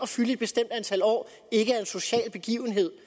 fylde et bestemt antal år ikke er en social begivenhed